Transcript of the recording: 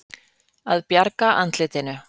Að bjarga andlitinu